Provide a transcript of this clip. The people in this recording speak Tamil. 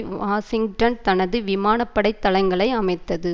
வாஷிங்டன் தனது விமான படை தளங்களை அமைத்தது